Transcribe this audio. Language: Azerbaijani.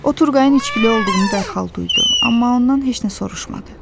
O Turqayın içkili olduğunu dərhal duydu, amma ondan heç nə soruşmadı.